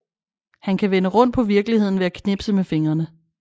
Han kan vende rundt på virkeligheden ved at knipse med fingrene